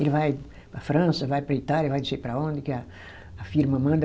Ele vai para França, vai para a Itália, vai não sei para onde, que a firma manda.